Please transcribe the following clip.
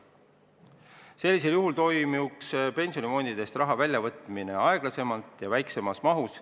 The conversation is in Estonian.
Sellisel juhul toimuks pensionifondidest raha väljavõtmine aeglasemalt ja väiksemas mahus.